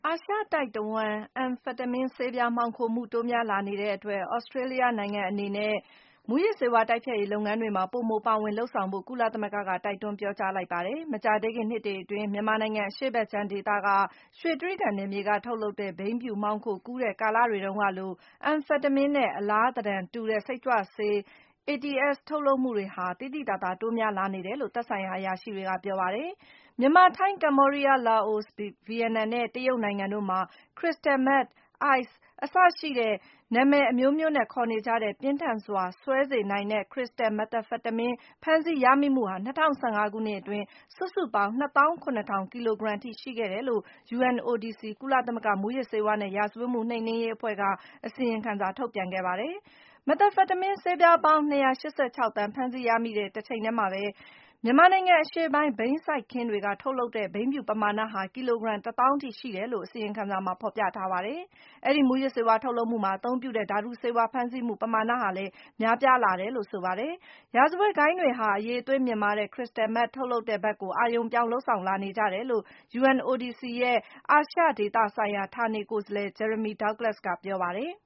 ာရှတိုက်တဝှမ်း Amphetamine ဆေးပြား မှောင်ခိုမှု တိုးများလာနေတဲ့အတွက် သြစတြေးလျနိုင်ငံအနေနဲ့ မူးယစ်ဆေးဝါး တိုက်ဖျက်ရေးလုပ်ငန်းတွေမှာ ပိုမို ပါဝင် လုပ်ဆောင်ဖို့ ကုလသမဂ္ဂက တိုက်တွန်း ပြောကြားလိုက်ပါတယ်။ မကြာသေးခင် နှစ်တွေအတွင်း မြန်မာနိုင်ငံ အရှေ့ဖက်ခြမ်းဒေသက ရွှေကြိဂံနယ်မြေက ထုတ်လုပ်တဲ့ ဘိန်းဖြူမှောင်ခိုကူးတဲ့ ကာလတွေတုန်းကလို Amphetamine နဲ့ အလားသဏ္ဍာန်တူတဲ့ စိတ်ကြွဆေး ATS ထုတ်လုပ်မှုတွေဟာ သိသိသာသာ တိုးများလာနေတယ်လို့ သက်ဆိုင်ရာ အရာရှိတွေက ပြောပါတယ်။ မြန်မာ၊ ထိုင်း၊ ကမ္ဘောဒီးယား၊ လာအို၊ ဗီယက်နမ်နဲ့ တရုတ်နိုင်ငံတို့မှာ Crystal Meth၊ Ice အစရှိတဲ့ နာမည်အမျိုးမျိုးနဲ့ ခေါ်နေကြတဲ့ ပြင်းထန်းစွာ စွဲစေနိုင်တဲ့ Crystal Methamphetamine ဖမ်းဆီးရမိမှုဟာ ၂၀၁၅ ခုနှစ်အတွင်း စုစုပေါင်း ၂၇,၀၀၀ ကီလိုဂရမ်အထိ ရှိခဲ့တယ်လို့ UNODC ကုလသမဂ္ဂမူးယစ်ဆေးဝါးနဲ့ ရာဇဝတ်မှု နှိမ်နင်းရေးအဖွဲ့က အစီရင်ခံစာ ထုတ်ပြန်ခဲ့ပါတယ်။ Methamphetamine ဆေးပြားပေါင်း ၂၈၆ သန်း ဖမ်းဆီးရမိတဲ့ တချိန်ထဲမှာပဲ မြန်မာနိုင်ငံ အရှေ့ပိုင်း ဘိန်းစိုက်ခင်းတွေက ထုတ်လုပ်တဲ့ ဘိန်းဖြူ ပမာဏဟာ ကီလိုဂရမ် ၁၀,၀၀၀ ရှိတယ်လို့ အစီရင်ခံစာမှာ ဖော်ပြထားပါတယ်။ အဲဒီ မူးယစ်ဆေးဝါး ထုတ်လုပ်မှုမှာ အသုံးပြုတဲ့ ဓာတုဆေးဝါး ဖမ်းဆီးမှု ပမာဏဟာလည်း များလာတယ်လို့ ဆိုပါတယ်။ ရာဇဝတ်ဂိုဏ်းတွေဟာ အရည်အသွေး မြင့်မားတဲ့ Crystal Meth ထုတ်လုပ်တဲ့ဖက်ကို အာရုံပြောင်း လုပ်ဆောင်လာနေကြတယ်လို့ UNODC ရဲ့ အာရှဒေသဆိုင်ရာ ဌာနနေကိုယ်စားလှယ် Jeremy Doiuglas က ပြောပါတယ်။